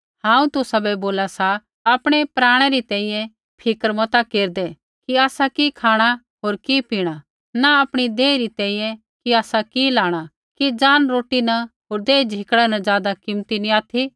हांऊँ तुसाबै बोला सा आपणै प्राणै री तैंईंयैं फिक्र मता केरदै कि आसा कि खाँणा होर कि पीणा न आपणी देही री तैंईंयैं कि आसा कि लाणा कि ज़ान रोटी न होर देह झिकड़ै न ज़ादा कीमती नी ऑथि